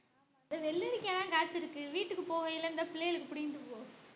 இந்த வெள்ளரிக்கா தான் காச்சு இருக்கு வீட்டுக்கு போகயில இந்த பிள்ளைகளுக்கு புடிங்கிட்டு போ